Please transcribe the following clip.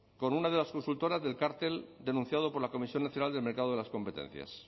con una de las consultoras del cartel denunciado por la comisión nacional del mercado de las competencias